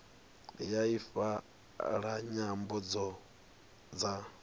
ya ifa la nyambo dza